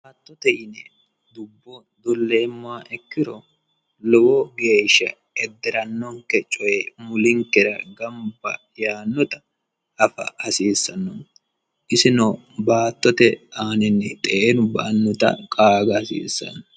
dubbo dolleemmoha ikkiro lowo geeshsha edderannonke coyi mulinkera gamba yaannota afa hasiissanno yaate, isino baattote aaninni xeenu ba'annota qaaga hasiissanno.